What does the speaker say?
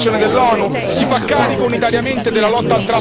Spinge forse per un intervento in interposizione dell'ONU?